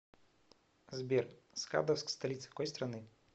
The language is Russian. сбер скадовск столица какой страны